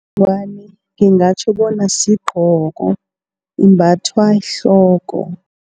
Ingwani ngingatjho bona sigqoko imbathwa ehloko.